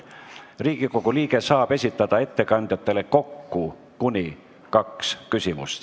Riigikogu liige saab esitada ettekandjatele kokku kuni kaks küsimust.